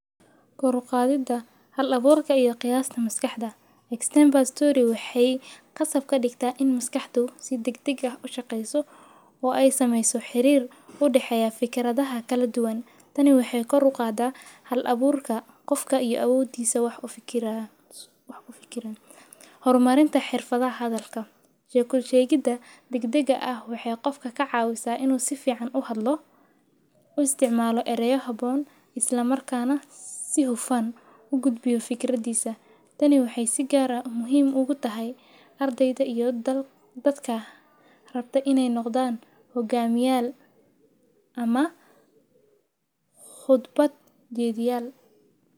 ko ruqaadida hal-abuurka iyo qiyaasta maskaxda. Example story, waxay ka safka dhigta in maskaxdu si degdeg ah u shaqeyso oo ay samayso xiriir, u dhexeeya fikiradaha kala duwan. Tani waxay ko ruuqaada hal-abuurka qofka iyo awoodiisa wax u fikiraan isaga waana u fikirin horumarinta xirfado hadalka. Sheekul sheegida degdegga ah waxay qofka ka caawisaa inuu si fiican u hadlo, u isticmaalo ereyoo haboon isla markaana si hufan u gudbiyo fikradiisa. Tani waxay sigaaruhu muhiim ugu tahay ardayda iyo dadka rabta inay noqdaan hogaamiye ama khudbad jediyal.